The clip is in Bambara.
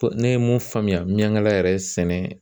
Ko ne ye mun faamuya miyaŋala yɛrɛ sɛnɛ